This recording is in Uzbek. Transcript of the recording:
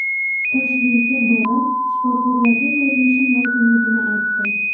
Toshkentga borib, shifokorlarga ko‘rinishim lozimligini aytdim.